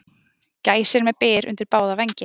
Gæsir með byr undir báða vængi